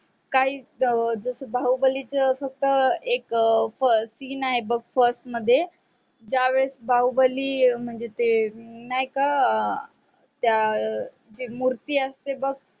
काहीच जस बाहुबलीच फक्त एक scene आहे first मध्ये ज्या वेळेस बाहुबली म्हणजे ते नही का त्या ते मूर्ती असते बग